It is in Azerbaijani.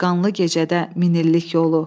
Bir qanlı gecədə min illik yolu.